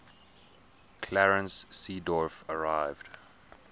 clarence seedorf arrived